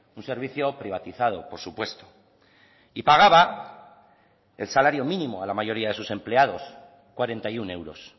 un servicio privatizado por supuesto y pagaba el salario mínimo a la mayoría de sus empleados cuarenta y uno euros